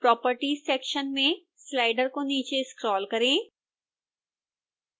properties section में slider को नीचे स्क्रोल करें